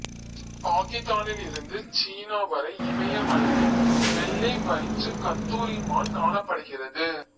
பாக்கித்தானில் இருந்து சீனா வரை இமயமலையில் வெள்ளை வயிற்றுக் கத்தூரி மான் காணப்படுகிறது